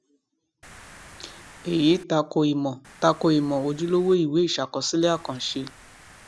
èyí tako ìmọ tako ìmọ ojúlówó ìwé ìṣàkọsílẹ àkànṣe